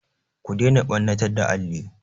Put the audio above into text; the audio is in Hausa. Ku daina ɓannatar da alli!